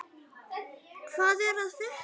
Hvað er að frétta!